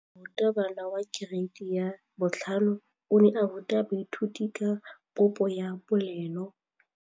Moratabana wa kereiti ya 5 o ne a ruta baithuti ka popô ya polelô.